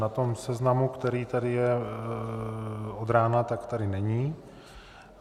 Na tom seznamu, který tady je od rána, tak tady není.